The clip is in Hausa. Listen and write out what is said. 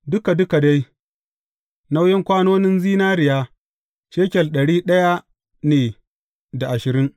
Duka duka dai, nauyin kwanonin zinariya, shekel ɗari ɗaya ne da ashirin.